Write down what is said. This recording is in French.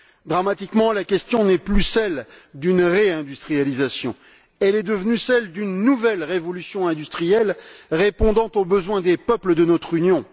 Dramatiquement la question n'est plus celle d'une réindustrialisation, elle est devenue celle d'une nouvelle révolution industrielle répondant aux besoins des peuples de notre Union.